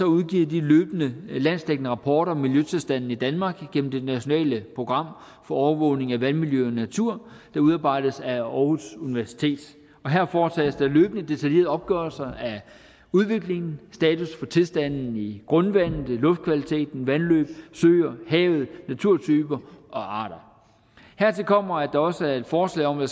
udgiver løbende landsdækkende rapporter om miljøtilstanden i danmark igennem det nationale program for overvågning af vandmiljø og natur der udarbejdes af aarhus universitet og her foretages der løbende detaljerede opgørelser af udviklingen status for tilstanden i grundvandet luftkvaliteten vandløb søer havet naturtyper og arter hertil kommer at der også er et forslag om at